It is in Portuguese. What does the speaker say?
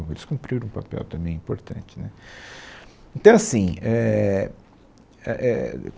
eles cumpriram um papel também importante, né. Então assim, éh, é éh